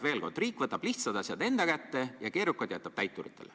Veel kord: riik võtab lihtsad asjad enda kätte ja keerukad jätab täituritele.